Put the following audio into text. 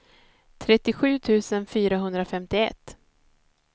trettiosju tusen fyrahundrafemtioett